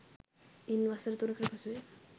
ඉන් වසර තුනකට පසුවය